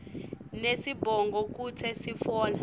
nesibongo kute sitfola